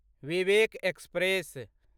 Vivek express